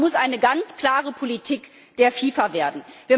Das muss eine ganz klare Politik der FIFA werden.